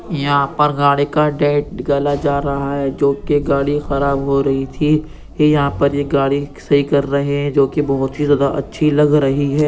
यहाँ पर गाड़ी का डेट गला जा रहा है जो कि गाड़ी खराब हो रही थी। ये यहां पर ये गाड़ी सही कर रहे हैं जो कि बहुत ही ज्यादा अच्छी लग रही है।